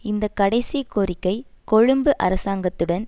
இந்த கடைசி கோரிக்கை கொழும்பு அரசாங்கத்துடன்